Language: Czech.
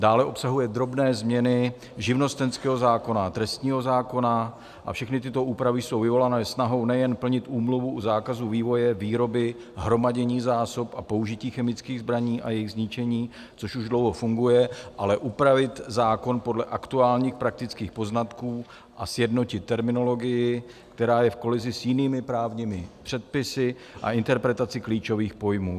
Dále obsahuje drobné změny živnostenského zákon a trestního zákona a všechny tyto úpravy jsou vyvolané snahou nejen plnit Úmluvu u zákazu vývoje, výroby, hromadění zásob a použití chemických zbraní a jejich zničení, což už dlouho funguje, ale upravit zákon podle aktuálních praktických poznatků a sjednotit terminologii, která je v kolizi s jinými právními předpisy, a interpretaci klíčových pojmů.